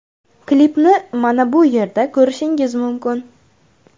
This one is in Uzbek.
Klipni mana bu yerda ko‘rishingiz mumkin.